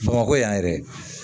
Bamakɔ yan yɛrɛ